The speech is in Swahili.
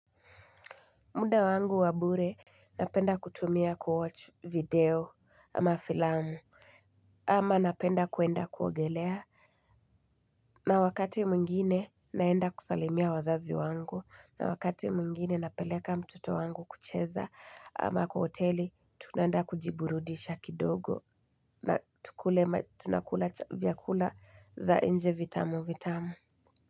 Muda wangu wa bure, napenda kutumia kuwatch video ama filamu, ama napenda kuenda kuogelea. Na wakati mwingine naenda kusalimia wazazi wangu, na wakati mwingine napeleka mtoto wangu kucheza ama kwa hoteli, tunaenda kujiburudisha kidogo na tunakula vyakula za nje vitamu vitamu.